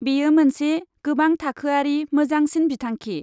बेयो मोनसे गोबां थाखोआरि मोजांसिन बिथांखि।